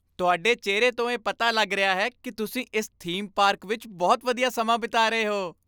ਤੁਹਾਡੇ ਚਿਹਰੇ ਤੋਂ ਇਹ ਪਤਾ ਲੱਗ ਰਿਹਾ ਹੈ ਕਿ ਤੁਸੀਂ ਇਸ ਥੀਮ ਪਾਰਕ ਵਿੱਚ ਬਹੁਤ ਵਧੀਆ ਸਮਾਂ ਬਿਤਾ ਰਹੇ ਹੋ।